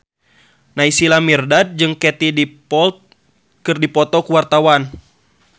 Naysila Mirdad jeung Katie Dippold keur dipoto ku wartawan